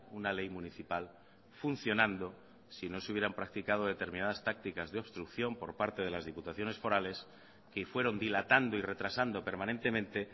una ley municipal funcionando si no se hubieran practicado determinadas tácticas de obstrucción por parte de las diputaciones forales que fueron dilatando y retrasando permanentemente